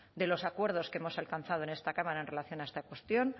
de los acuerdos que hemos alcanzado en esta cámara en relación a esta cuestión